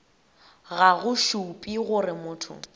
ga go šupe gore motho